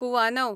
कुवानव